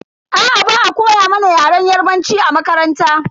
Aa, ba'a koya mana yaren yarbanci a makaranta.